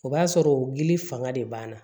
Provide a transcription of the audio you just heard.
O b'a sɔrɔ gili fanga de b'an na